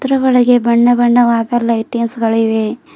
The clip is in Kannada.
ಇದರ ಒಳಗೆ ಬಣ್ಣ ಬಣ್ಣವಾದ ಲೈಟಿಂಗ್ಸ್ ಗಳು ಇವೆ.